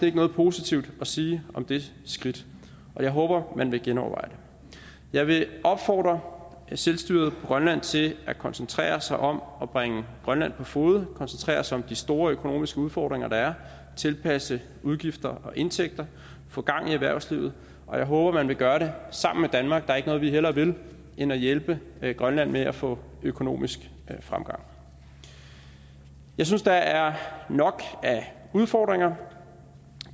ikke noget positivt at sige om det skridt og jeg håber at man vil genoverveje det jeg vil opfordre selvstyret på grønland til at koncentrere sig om at bringe grønland på fode koncentrere sig om de store økonomiske udfordringer der er tilpasse udgifter og indtægter få gang i erhvervslivet og jeg håber at man vil gøre det sammen med danmark der er ikke noget vi hellere vil end at hjælpe grønland med at få økonomisk fremgang jeg synes der er nok af udfordringer